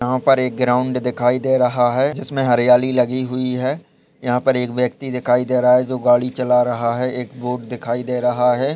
यहां पर एक ग्राउन्ड दिखाई दे रहा है जिसमें हरियाली लगी हुई है यहाँ पर एक व्यक्ति दिखाई दे रहा है जो गाड़ी चला रहा है एक रोड दिखाई दे रहा है।